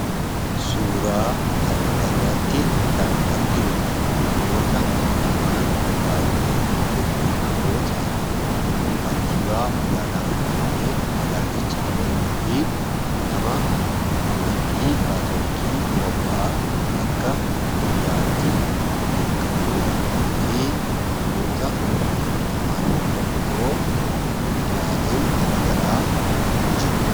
Suuraa kana irratti kan arginu namoota lamaan baay'ee bebbeekamoo ta'an kantiibaa magaalaa Finfinnee Adaanech Abeebee fi nama amantii Kaatolikii dura bu'aa ta'an akka biyyaatis beekamoodha. Namoota kanneen lamaan bira immoo miidiyaaleen gara garaa ni jiru.